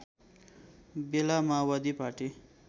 बेला माओवादी पार्टी